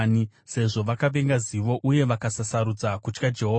Sezvo vakavenga zivo uye vakasasarudza kutya Jehovha,